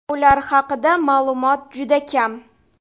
Ular haqida ma’lumot juda kam.